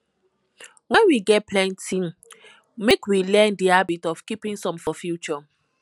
when we get plenty make we learn di habit of keeping some for future